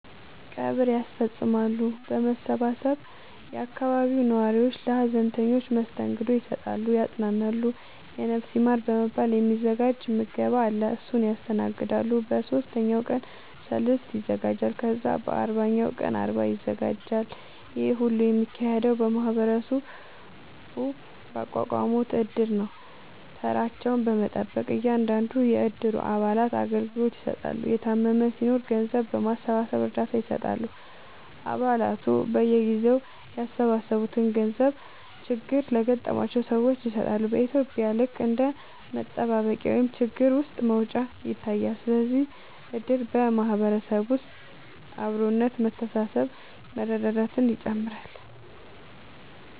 ቀብር ያስፈፅማሉ በመሰባሰብ የአካባቢው ነዋሪዎች ለሀዘንተኞች መስተንግዶ ይሰጣሉ ያፅናናሉ የነፍስ ይማር በመባል የ ሚዘጋጅ ምገባ አለ እሱን ያስተናግዳሉ በ ሶስተኛው ቀን ሰልስት ይዘጋጃል ከዛ በ አርባኛው ቀን አርባ ይዘጋጃል ይሄ ሁሉ የሚካሄደው ማህበረሰቡ ባቋቋሙት እድር ነው ተራቸውን በመጠበቅ እያንዳንዱን የ እድሩ አባላቶች አገልግሎት ይሰጣሉ የታመመም ሲናኖር ገንዘብ በማሰባሰብ እርዳታ ይሰጣሉ አ ባላቱ በየጊዜው ያሰባሰቡትን ገንዘብ ችግር ለገጠማቸው ሰዎች ይሰጣሉ በ ኢትዩጵያ ልክ እንደ መጠባበቂያ ወይም ችግር ውስጥ መውጫ ይታያል ስለዚህም እድር በ ማህበረሰብ ውስጥ አብሮነት መተሳሰብ መረዳዳትን ይጨምራል